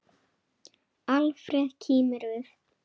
Alfreð kímir við.